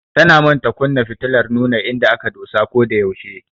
Tana manta kunna fitilar nuna inda aka dosa ko da yaushe.